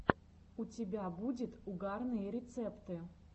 у тебя будет угарные рецепты